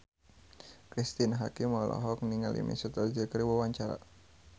Cristine Hakim olohok ningali Mesut Ozil keur diwawancara